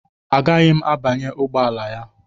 Agaghị m abanye ụgbọ ala a